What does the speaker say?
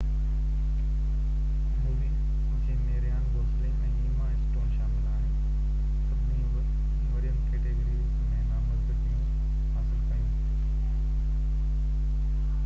movie جنهن ۾ Ryan Gosling ۽ Emma Stone شامل آهن سڀني وڏين ڪيٽيگريز ۾ نامزدگيون حاصل ڪيون